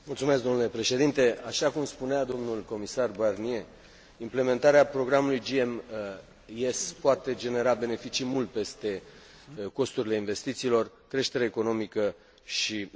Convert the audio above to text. Așa cum spunea domnul comisar Barnier, implementarea programului GMES poate genera beneficii mult peste costurile investițiilor, creștere economică și locuri de muncă.